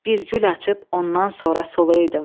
Bir gül açıb ondan sonra solaydım.